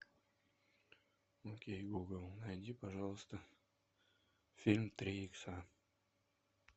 окей гугл найди пожалуйста фильм три икса